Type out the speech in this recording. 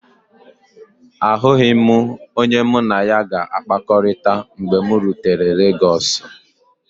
Ahụghị m onye mụ na ya ga-akpakọrịta mgbe m rutere Legọsu.